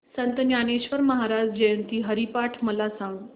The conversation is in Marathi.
संत ज्ञानेश्वर महाराज जयंती हरिपाठ मला सांग